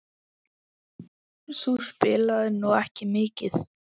Þú spilaðir nú ekki mikið?